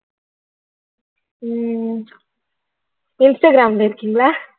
உம் இன்ஸ்டாகிராம்ல இருக்கீங்களா